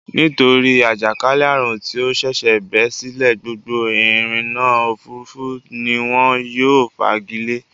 Nítorí àjàkálẹ́ àrùn tí ó ṣẹ̀ṣẹ̀ bẹ́ sílẹ̀ gbogbo ìrìnnà-òfurufú ni wọ́n yóò fagilé.